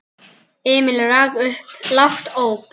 Emil rak upp lágt óp.